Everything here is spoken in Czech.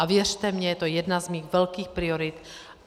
A věřte mi, je to jedna z mých velkých priorit.